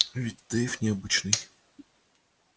ведь дейв необычный